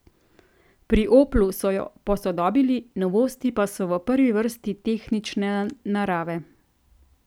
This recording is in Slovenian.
Pri Oplu so jo posodobili, novosti pa so v prvi vrsti tehnične narave.